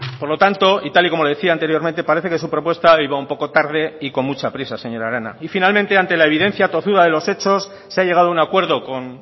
por lo tanto y tal y como le decía anteriormente parece que su propuesta iba un poco tarde y con mucha prisa señora arana y finalmente ante la evidencia tozuda de los hechos se ha llegado a un acuerdo con